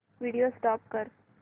video stop कर